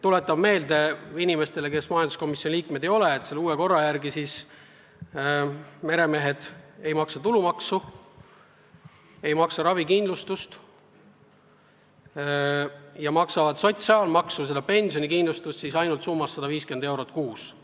Tuletan meelde inimestele, kes majanduskomisjoni liikmed ei ole, et uue korra järgi meremehed ei maksa tulumaksu, ei maksa ravikindlustust ja maksavad sotsiaalmaksu, seda pensionikindlustust ainult summas 150 eurot kuus.